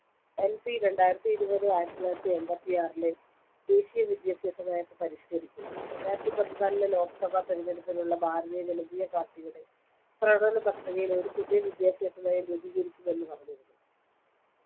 NP രണ്ടായിരത്തി ഇരുപത് ആയിരത്തിത്തൊള്ളായിരത്തി അമ്പത്തിആറിലെ ദേശീയ വിദ്യാഭ്യാസ നയത്തെ പരിഷ്കരിക്കുന്നു രണ്ടായിരത്തിപതിനാലിലെ ലോക്‌സഭാ തെരഞ്ഞെടുപ്പിനുള്ള ഭാരതീയ ജനതാപാർട്ടിയുടെ പ്രകടനപത്രികയിൽ ഒരു പുതിയ വിദ്യാഭ്യാസനയം രൂപീകരിക്കുമെന്നു പറഞ്ഞിരുന്നു